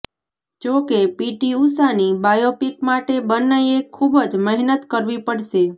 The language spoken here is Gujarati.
જો કે પીટી ઉષાની બાયોપિક માટે બંનેએ ખૂબ જ મહેનત કરવી પડશે